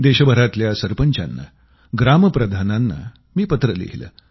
देशभरातल्या सरपंचांना ग्राम प्रधानांना मी पत्र लिहिलं